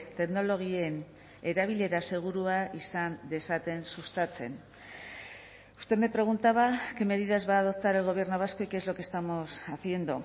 teknologien erabilera segurua izan dezaten sustatzen usted me preguntaba qué medidas va a adoptar el gobierno vasco y qué es lo que estamos haciendo